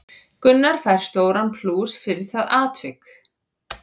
Gunnar fær stóran plús fyrir það atvik.